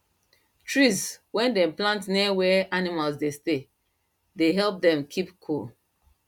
trees wen dem plant near where animal dey stay they help keep them cool